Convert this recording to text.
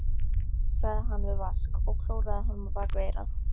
sagði hann við Vask og klóraði honum bak við eyrað.